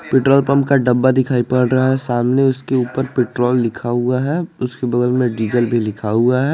Petrol pump का डब्बा दिखाई पड़ रहा है सामने उसके ऊपर पेट्रोल लिखा हुआ है उसके बगल में डीजल भी लिखा हुआ है।